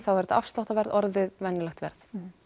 er þetta afsláttarverð orðið venjulegt verð